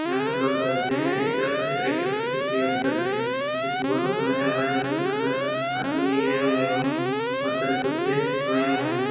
यहां से लोग चढ़ते हैं एक तरफ से और एक तरफ से दूसरी और उतरते हैं यह सुबह का समय होगा जब की यहां पर आदमी नहीं गए होंगे एवं बहुत सारे कुत्ते सोए हुए हैं।